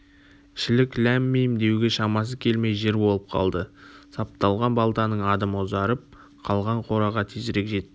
шілік ләм-мим деуге шамасы келмей жер болып қалды сапталған балтаның адымы ұзарып қалған кораға тезірек жетті